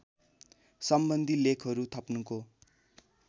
सम्बन्धी लेखहरू थप्नुको